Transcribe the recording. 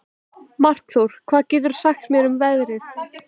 Markþór, hvað geturðu sagt mér um veðrið?